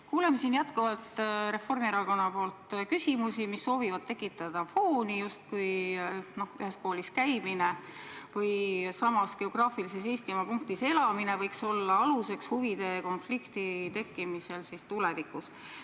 Kuuleme siin jätkuvalt Reformierakonna küsimusi, mis soovivad tekitada fooni, justkui ühes koolis käimine või Eestimaal samas geograafilises punktis elamine võiks olla aluseks huvide konflikti tekkimisele tulevikus.